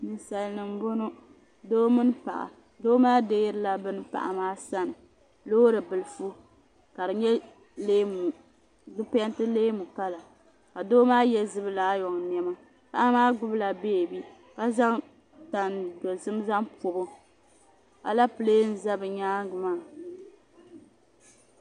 Ninsalinima m boŋɔ doo mini paɣa doo maa deeirila bini paɣa maa sani loori bilifu ka di nyɛ ka di penti leemu kala ka doo maa ye zumilaayɔ niɛma paɣa maa gbibila beebi ka zaŋ tan dozim zaŋ bobi o Alapilee n za bɛ nyaanga maa.